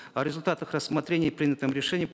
о результатах рассмотрения и принятом решении